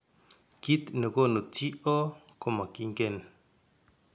Kiiy ne koonu TO komakiinken